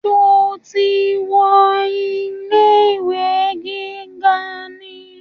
Sọ ti wọ ilé ìwé gíga ni?